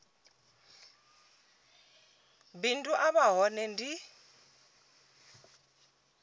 bindu a vha hone ndi